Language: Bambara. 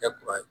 Kɛ kura ye